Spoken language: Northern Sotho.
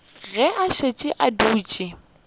ge a šetše a dutše